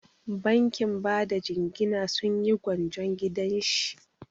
Bankin bada jingina sun yi gwanjon gidan shi.